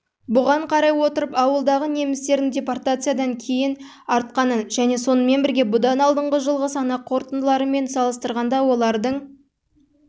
бұған қарай отырып ауылдағы немістердің депортациядан кейін артқанын және сонымен бірге бұдан алдыңғы жылғы санақ қорытындыларымен салыстырғанда олардың